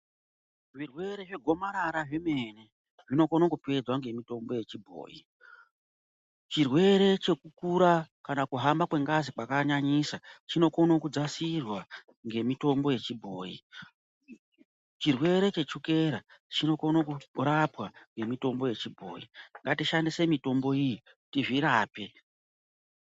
Zvirwere zvegomarara zvemene zvinokone kupedza ngemitombo yechibhoyi , chirwere chekukura kana chekuhamba kwengazi kwakanyanyisa chinokone kudzasirwa ngemitombo yechibhoyi chirwere chechukera chinokone kurapwa ngemitombo yechibhoyi ngatiishandise mitombo iyi tizvirape.